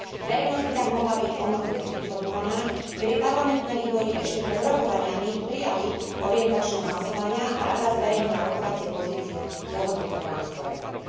Verejnosť by tak mohla byť omnoho viac informovaná, keby parlamentné výbory ešte pred rokovaniami prijali orientačné hlasovania a Rada zverejnila rokovacie pozície dohodnuté v rámci Coreperu.